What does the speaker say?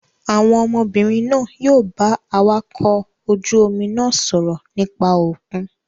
Àwọn ọmọbìnrin náà yóò bá awakọ̀ ojú-omi náà sọ̀rọ̀ nípa òkun.